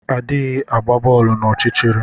Adighị agba boolu n’ọchịchịrị